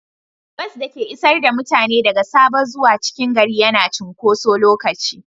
Bas da ke isar da mutane daga Sabo zuwa cikin gari yana cunkoso lokaci.